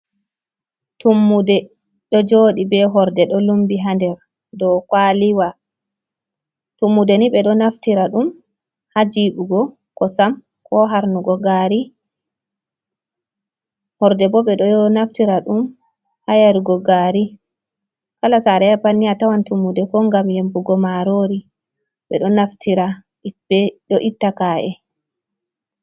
Tummude ɗo joodi be horde, ɗo lumbi ha nder dou kwaliwa. Tummude ni ɓe ɗo naftira ɗum ha jiɓugo kosam ko harnugo gaari. Horde bo ɓe ɗo naftira dum ha yarugo gaari. Kala saare a yahi fu a tawan tummude ko ngam yembugo marori. Ɓe ɗo naftira ɗo itta ka’e.